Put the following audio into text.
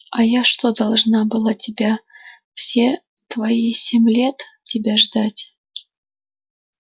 а я что должна была тебя все твои семь лет тебя ждать